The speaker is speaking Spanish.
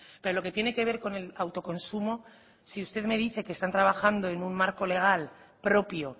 pero lo que tiene que ver con el autoconsumo si usted me dice que están trabajando en un marco legal propio